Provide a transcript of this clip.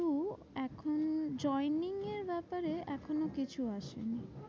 হম joining এর ব্যাপারে এখনো কিছু আসেনি।